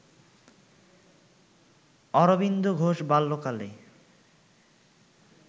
অরবিন্দ ঘোষ বাল্যকালে